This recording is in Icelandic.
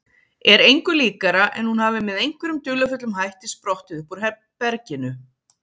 Er engu líkara en hún hafi með einhverjum dularfullum hætti sprottið uppúr berginu.